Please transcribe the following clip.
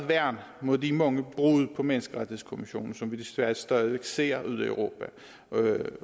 værn mod de mange brud på menneskerettighedskonventionen som vi desværre stadig væk ser ude i europa